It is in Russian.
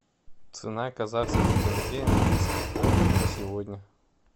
цена казахский тенге английский фунт на сегодня